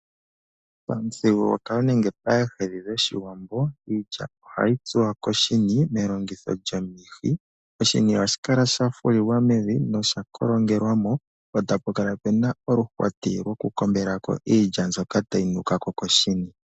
Pamuthigululwakalo nenge paahedhi dhoshiwambo iilya ohayi tsuwa koshini melongitho lyomihi. Oshini ohashi kala shafulilwa mevi nosha kolongelwa mo po tapu kala puna oluhwati lwokukombela ko iilya mbyoka tayi nuka ko koshini.